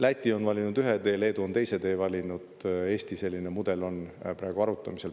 Läti on valinud ühe tee, Leedu on teise tee valinud, Eesti mudel on praegu arutamisel.